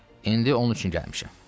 İndi onun üçün gəlmişəm."